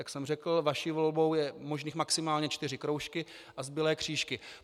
Jak jsem řekl, vaší volbou je možných maximálně čtyři kroužky a zbylé křížky.